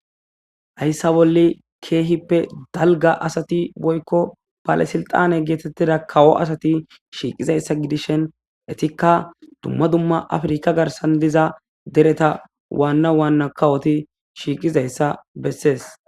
Hayssa bolle keehippe dalga asati boykko balasilxane geetettida kawo asati shiiqizayssa gidishen etikka dumma dumma afrika garsan diza dereta waanna waanna kawoti shiiqizayssa bessees